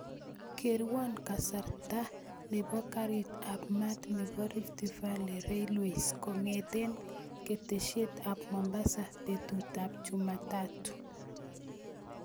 Kerwon kasarta nebo garit ab maat nebo rift valley railways kongeten keteshet ab mombasa betut ab chumatatu